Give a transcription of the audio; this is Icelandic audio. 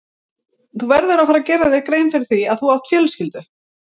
Þú verður að fara að gera þér grein fyrir því að þú átt fjölskyldu.